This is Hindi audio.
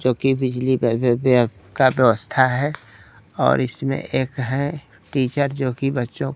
जो कि बिजली व्य व्यय का व्यवस्था है और इसमें एक है टीचर जो कि बच्चों।